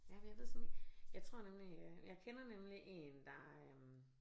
Jamen jeg ved sådan ik jeg tror nemlig jeg kender nemlig én der øh